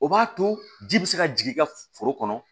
O b'a to ji bɛ se ka jigin i ka foro kɔnɔ